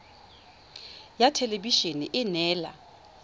ya thelebi ene e neela